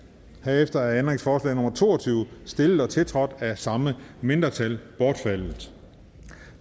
herefter er ændringsforslag nummer to og tyve stillet og tiltrådt af samme mindretal bortfaldet